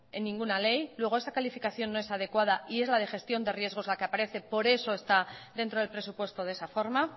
en ninguna ley luego a esa calificaciónno es adecuada y es la de gestión de riesgos la que aparece por eso está dentro del presupuesto de esa forma